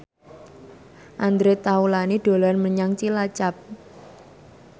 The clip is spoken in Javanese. Andre Taulany dolan menyang Cilacap